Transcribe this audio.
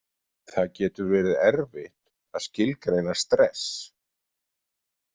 Það getur verið erfitt að skilgreina stress.